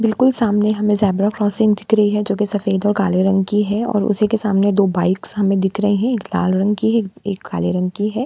बिल्कुल सामने हमें ज़ेब्रा क्रॉसिंग दिखरी है जो कि सफेद और काले रंग की है और उसी के सामने दो बाइक सामने दिख रही हैं एक लाल रंग की है एक एक काले रंग की है।